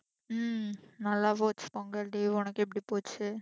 ஹம் நல்லா போச்சு பொங்கல் leave உனக்கு எப்படி போச்சு